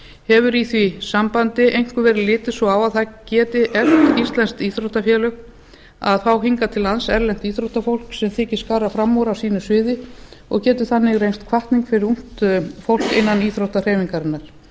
hefur í því sambandi einkum verið litið svo á að það geti eflt íslensk íþróttafélög að fá hingað til lands erlent íþróttafólk sem getur skarað fram úr á sínu sviði og getur þannig reynst hvatning fyrir ungt fólk innan íþróttahreyfingarinnar